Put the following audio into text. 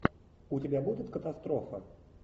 у тебя будет катастрофа